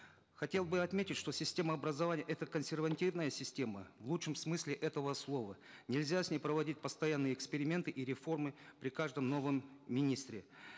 хотел бы отметить что система образования это консервативная система в лучшем смысде этого слова нельзя с ней проводить постоянные эксперименты и реформы при каждом новом министре